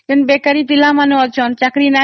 ଯେଉଁ ବେକରି ପିଲା ମାନେ ଅଛନ୍ତି